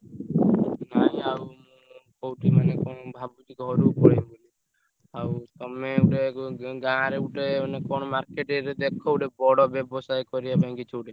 ନାଇଁ ଆଉ ମୁଁ କହୁଛି କଣ ମାନେ ଭାବୁଚି ଘରୁକୁ ପଳେଇବି ବୋଲି। ଆଉ ତମେ ଗୋଟେ ~ଗୁ ଉ ଗାଁରେ ଗୋଟେ କଣ ମାନେ market ରେ ଦେଖ ଗୋଟେ ବଡ ବ୍ୟବସାୟ କରିଆ ପାଇଁ କିଛି ଗୋଟେ।